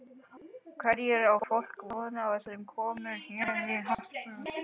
Hverju á fólk von á sem kemur hérna í Hörpu?